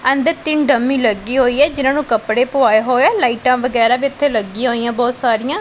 ਅੰਦਰ ਤਿੰਨ ਡੰਮੀ ਲੱਗੀ ਹੋਈ ਹੈ ਜਿਹਨਾਂ ਨੂੰ ਕੱਪੜੇ ਪੁਵਾਏ ਹੋਏ ਲਾਈਟਾਂ ਵਗੈਰਾ ਵੀ ਉੱਥੇ ਲੱਗੀਆਂ ਹੋਈਆਂ ਬਹੁਤ ਸਾਰਿਆਂ।